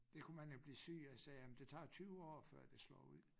Det kunne man jo blive syg af sagde han men det tager 20 år før det slår ud